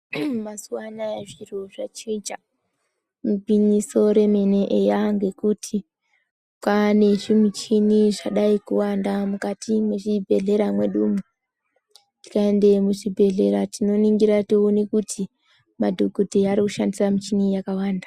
Uuu mazuva anaya zviro zvachinjia igwinyiso remene eyangekuti kwane zvimichini zvadai kuwanda mukati mwezvibhedhlera mwedumwo. Tikaende muzvibhedhlera tinoningira toona kuti madhogodheya arikushandisa michini yakawanda.